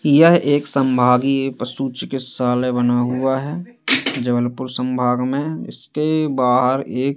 यह एक संभागीय पशु चिकित्सालय बना हुआ है जबलपुर संभाग में इसके बाहर एक--